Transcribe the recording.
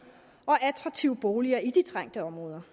og attraktive boliger i de trængte områder